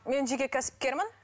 мен жеке кәсіпкермін